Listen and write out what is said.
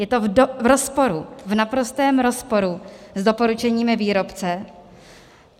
Je to v rozporu, v naprostém rozporu s doporučeními výrobce.